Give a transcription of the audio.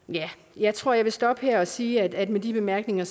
jeg tror jeg vil stoppe her og sige at med disse bemærkninger